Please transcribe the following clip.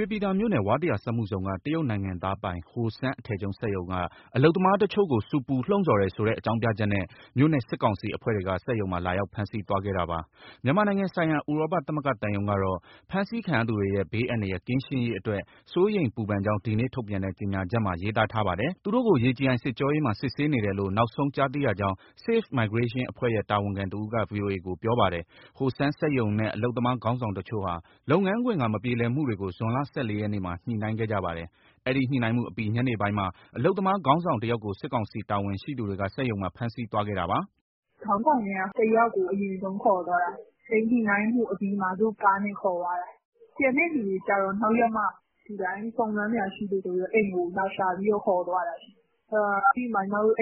ရွှေပြည်သာမြို့နယ်၊ ဝါးတရာစက်မှုဇုန်က တရုတ်နိုင်ငံသားပိုင် Hosheng အထည်ချုပ်စက်ရုံက အလုပ်သမားတချို့ကို ဆူပူ လှုံ့ဆော်တယ်ဆိုတဲ့ အကြောင်းပြချက်နဲ့ မြို့နယ်စစ်ကောင်စီ အဖွဲ့တွေက စက်ရုံမှာ လာရောက် ဖမ်းဆီးသွားခဲ့တာပါ။ မြန်မာနိုင်ငံဆိုင်ရာ ဥရောပသမဂ္ဂသံရုံးကတော့ ဖမ်းဆီးခံရသူတွေရဲ့ ဘေးအန္တရာယ် ကင်းရှင်းရေးအတွက် စိုးရိမ်ပူပန်ကြောင်း ဒီနေ့ထုတ်ပြန်တဲ့ ကြေညာချက်မှာ ရေးသားထာပါတယ်။ သူတို့ကို ရေကြည်အိုင် စစ်ကြောရေးမှာ စစ်ဆေးနေတယ်လို့ နောက်ဆုံး ကြားသိရကြောင်း Safe Migration အဖွဲ့ရဲ့ တာဝန်ခံတဦးက ဗွီအိုအေကို ပြောပါတယ်။ Hosheng စက်ရုံနဲ့ အလုပ်သမား ခေါင်းဆောင်တချို့ဟာ လုပ်ငန်းခွင်က မပြေလည်မှုတွေကို ဇွန်လ ၁၄ရက်မှာ ညှိနှိုင်းခဲ့ကြပါတယ်။ အဲဒီ ညှိနှိုင်းမှုအပြီး ညနေပိုင်းမှာ အလုပ်သမားခေါင်းဆောင် တယောက်ကို စစ်ကောင်စီတာဝန်ရှိသူတွေက စက်ရုံမှာ ဖမ်းဆီးသွားခဲ့တာပါ။ "ခေါင်းဆောင်ထဲက တယောက်ကို အရင်ဆုံးခေါ်သွားတာ၊ အဲဒီညှိနှိုင်းမှုအပြီးမှာ သူတို့ကားနဲ့ ခေါ်သွားတာ။ ကျန်တဲ့သူတွေကြတော့ နောက်ရက်မှ စုံစမ်းစရာရှိလို့ဆိုပြီး အိမ်ကိုလာရှာပြီး ခေါ်သွားတာ။ အဲဒီမှာ ညီမတို့